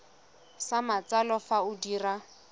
sa matsalo fa o dira